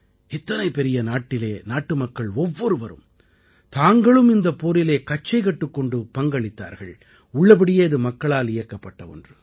இத்தனை பெரிய நாட்டிலே நாட்டுமக்கள் ஒவ்வொருவரும் தாங்களும் இந்தப் போரிலே கச்சை கட்டிக் கொண்டு பங்களித்தார்கள் உள்ளபடியே இது மக்களால் இயக்கப்பட்ட ஒன்று